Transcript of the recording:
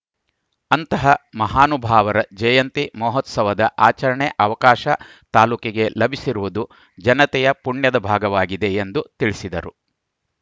ಅಂತಹ ಮಹಾನುಭಾವರ ಜಯಂತಿ ಮಹೋತ್ಸವದ ಆಚರಣೆ ಅವಕಾಶ ತಾಲೂಕಿಗೆ ಲಭಿಸಿರುವುದು ಜನತೆಯ ಪುಣ್ಯದ ಭಾಗವಾಗಿದೆ ಎಂದು ತಿಳಿಸಿದರು